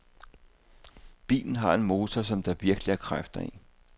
Bilen har en motor, som der virkelig er kræfter i.